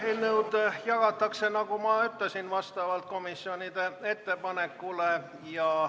Eelnõud jagatakse, nagu ma ütlesin, vastavalt komisjonide ettepanekule.